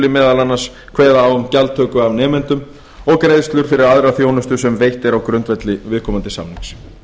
meðal annars kveða á um gjaldtöku af nemendum og greiðslur fyrir aðra þjónustu sem veitt er á grundvelli viðkomandi samnings